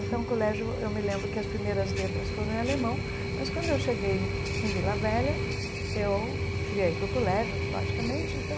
Então, colégio, eu me lembro que as primeiras letras foram em alemão, mas quando eu cheguei em Vila Velha, eu queria ir para o colégio, logicamente, então...